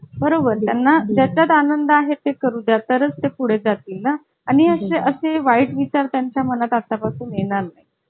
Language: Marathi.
नाही तुला suitable केव्हा आहे ते सांग उद्याचा दिवस सोडून